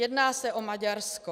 Jedná se o Maďarsko.